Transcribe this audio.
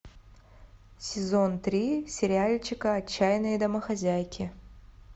сезон три сериальчика отчаянные домохозяйки